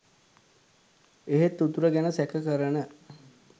එහෙත් උතුර ගැන සැක කරන